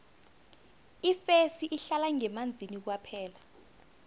ifesi ihlala ngemanzini kwaphela